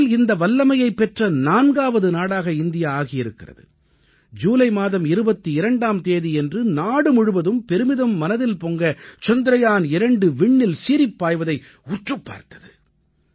உலகில் இந்த வல்லமையைப் பெற்ற நான்காவது நாடாக இந்தியா ஆகியிருக்கிறது ஜூலை மாதம் 22ஆம் தேதியன்று நாடு முழுவதும் பெருமிதம் மனதில் பொங்க சந்திரயான் 2 விண்ணில் சீறிப் பாய்வதை உற்றுப் பார்த்தது